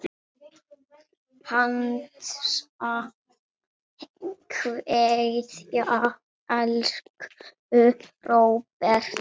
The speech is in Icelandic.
HINSTA KVEÐJA Elsku Róbert.